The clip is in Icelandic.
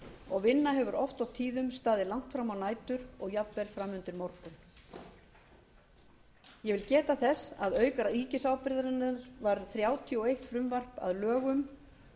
og vinna hefur oft og tíðum staðið langt fram á nætur og jafnvel fram undir morgun ég vil geta þess að auk ríkisábyrgðarinnar varð þrjátíu og eitt frumvarp að lögum